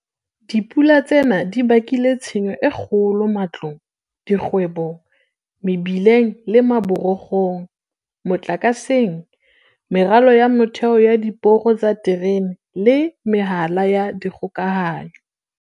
Dipula tsena di bakile tshenyo e kgolo matlong, dikgwebong, mebileng le maborokgong, motlakaseng, meralo ya motheo ya diporo tsa diterene le mehala ya dikgokahanyo.